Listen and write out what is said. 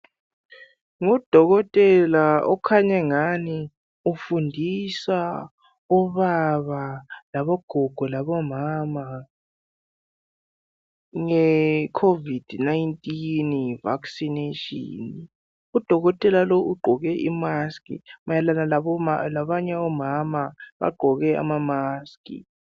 Ngudokotela okhanya engani ufundisa obaba labagogo labomama ngeCovid 19 vaccination. Udokotela lo ugqoke imask mayelana labanye omama bagqoke amamask.